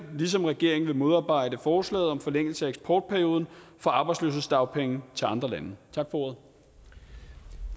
ligesom regeringen vil modarbejde forslaget om forlængelse af eksportperioden for arbejdsløshedsdagpenge til andre lande